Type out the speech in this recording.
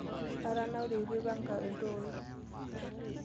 Atanaure etu aipanga iltooi.